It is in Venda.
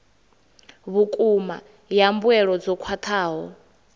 vhukuma ya mbuelo dzo khwathaho